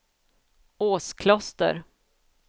Åskloster